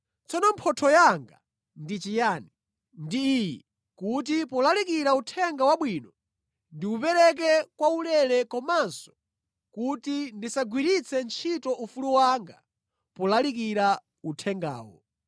Tsono mphotho yanga ndi chiyani? Ndi iyi: kuti polalikira Uthenga Wabwino ndiwupereke kwaulere komanso kuti ndisagwiritse ntchito ufulu wanga polalikira uthengawo.